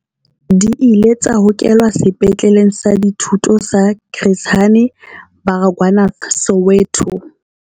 Di ile tsa hokelwa Sepetleleng sa Dithuto sa Chris Hani Baragwanath Soweto.